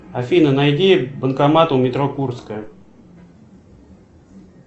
афина найди банкомат у метро курская